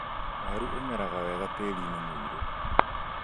Waru ũmeraga wega tĩri-inĩ mũirũ